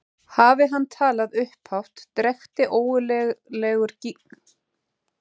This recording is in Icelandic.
Hafi hann talað upphátt drekkti ógurlegur gnýrinn frá hreyflunum fjórum öllum hljóðum.